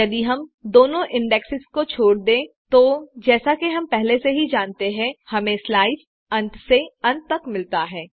यदि हम दोनों इन्डेक्सेस छोड़ दें तो जैसा कि हम पहले से ही जानते हैं हमें स्लाईस अंत से अंत तक मिलता है